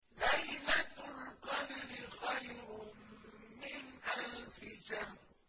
لَيْلَةُ الْقَدْرِ خَيْرٌ مِّنْ أَلْفِ شَهْرٍ